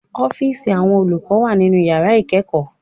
Ọ́fíìsì Àwọn olùkọ́ wà nínu yàrá ìkẹ́ẹ̀kọ̀